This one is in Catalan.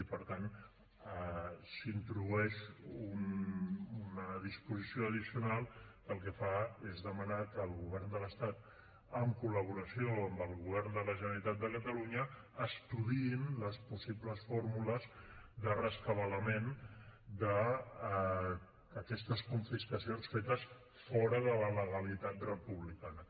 i per tant s’introdueix una disposició addicional que el que fa és demanar que el govern de l’estat en col·laboració amb el govern de la generalitat de catalunya estudiï les possibles fórmules de rescabalament d’aquestes confiscacions fetes fora de la legalitat republicana